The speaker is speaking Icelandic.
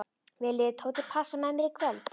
Viljið þið Tóti passa með mér í kvöld?